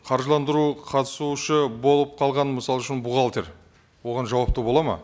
қаржыландыру қатысушы болып қалған мысал үшін бухгалтер оған жауапты болады ма